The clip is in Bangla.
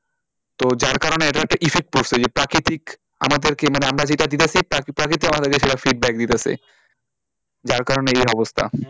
তো যার কারণে এটার একটা effect পড়ছে যে প্রাকৃতিক আমাদেরকে মানে আমরা দিতাছি প্রকৃতি সেটা আমাদেরকে সেটা feedback দিতাছে যার কারণে এই অবস্থা